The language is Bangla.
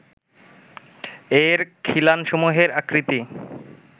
এর খিলানসমূহের আকৃতি